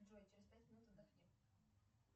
джой через пять минут отдохни